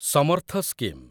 Samarth scheme